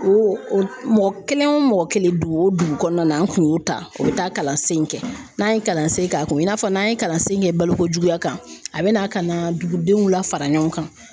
O o mɔgɔ kelen o mɔgɔ kelen dugu o dugu kɔnɔna na an tun y'o ta u bɛ taa kalansen kɛ n'an ye kalansen k'a kun i n'a fɔ n'an ye kalansen kɛ balokojuguya kan a bɛ na ka na dugudenw la fara ɲɔgɔn kan.